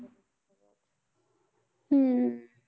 हम्म